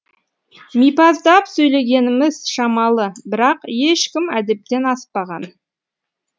мипаздап сөйлегеніміз шамалы бірақ ешкім әдептен аспаған